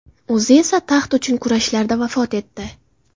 O‘zi esa taxt uchun kurashlarda vafot etdi.